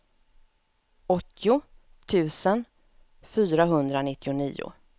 åttio tusen fyrahundranittionio